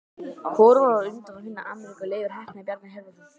Hvor var á undan að finna Ameríku, Leifur heppni eða Bjarni Herjólfsson?